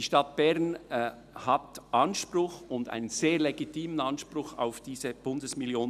Die Stadt Bern hat einen sehr legitimen Anspruch auf diese Bundesmillion.